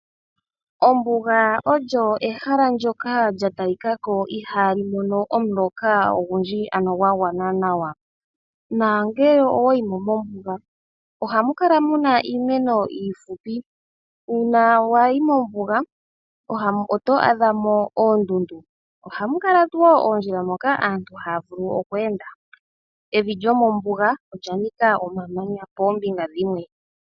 Ombuga olyo ehala ndyoka lya talika ko i haali mono omuloka ogundji ano gwa gwana nawa, nongele owayi mo mombuga ohamu kala muna iimeno iifupi, uuna wa yi mombuga oto a dha mo oondundu , ohamu kala woo oondjila dhoka aantu haya vulu woo okweenda. Evi lyo mombuga olya nika omamanya poombinga dhimwe.